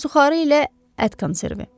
Suxarı ilə ət konservi.